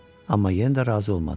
Amma yenə də razı olmadı.